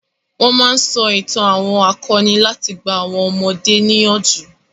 Wọn máa ń sọ itàn àwọn akọni láti gba àwọn ọmọdé níyànjú.